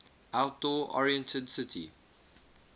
outdoor oriented city